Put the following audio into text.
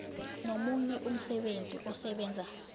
nomunye umsebenzi osebenza